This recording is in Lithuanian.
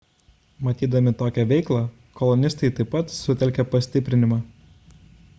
matydami tokią veiklą kolonistai taip pat sutelkė pastiprinimą